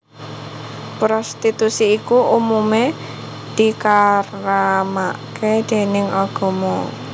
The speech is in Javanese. Prostitusi iku umumé dikaramaké déning agama